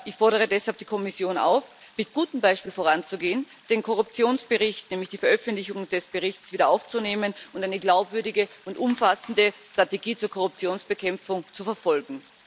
Ich fordere deshalb die Kommission auf, mit gutem Beispiel voranzugehen, den Korruptionsbericht die Veröffentlichung des Berichts wieder aufzunehmen und eine glaubwürdige und umfassende Strategie zur Korruptionsbekämpfung zu verfolgen.